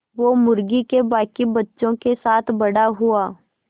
वो मुर्गी के बांकी बच्चों के साथ बड़ा हुआ